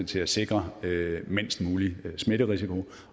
til at sikre mindst mulig smitterisiko